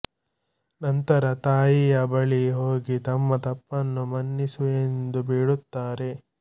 ನಂತರ ತಾಯಿಯ ಬಳಿ ಹೋಗಿ ತಮ್ಮ ತಪ್ಪನ್ನು ಮನ್ನಿಸು ಎಂದು ಬೇಡುತ್ತಾರೆ